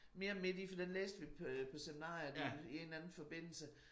Mere midt i for den læste vi på på seminariet i i en eller anden forbindelse